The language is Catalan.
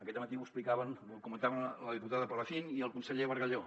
aquest dematí ho explicaven ho comentaven la diputada palacín i el conseller bargalló